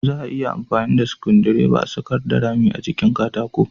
Za a iya amfani da sukudireba a sakarda rami a jikin katako